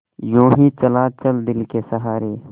यूँ ही चला चल दिल के सहारे